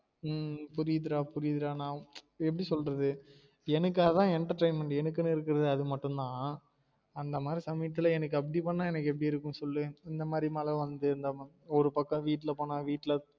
உம் புரியுதுடா புரியுதுடா நா உச் நான் எப்டி சொல்றது எனக்கு அதான் entertainment எனக்குன்னு இருக்குறது ஆது மட்டும் தான் அந்த மாதிரி சமயத்துல எனக்கு அப்டி பண்ண எனக்கு எப்டி இருக்கும் சொல்லு? இந்த மாதிரி மழ வந்து இருந்தம ஒரு பக்கம் வீட்டுல போன வீட்ல